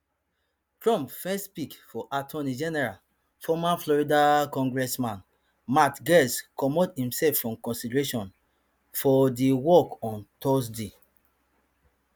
trump first pick for attorney general former florida congressman matt gaetz comot imself from consideration for di work on thursday